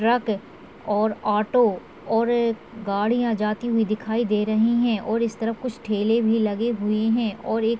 truck और auto और गाड़ियां जाती हुई दिखाई दे रही हैं और इस तरफ कुछ ठेले भी लगे हुए हैं और एक--